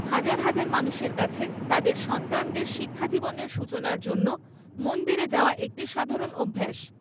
হাজার হাজার মানুষের কাছে তাদের সন্তানদের শিক্ষাজীবনের সূচনার জন্য মন্দিরে যাওয়া একটি সাধারণ অভ্যাস।